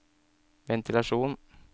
ventilasjon